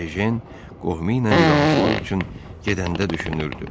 Ejen qohumuyla vidalaşmaq üçün gedəndə düşünürdü: